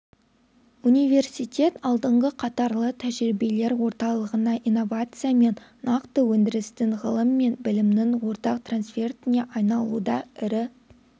университет алдыңғы қатарлы тәжірибелер орталығына инновация мен нақты өндірістің ғылым мен білімнің ортақ трансфертіне айналуда ірі